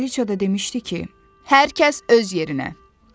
Kralıca da demişdi ki, hər kəs öz yerinə.